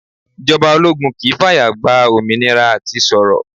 Ìjọba ológun kì i fàyà gba òmìnira à ti sọ̀rọ̀.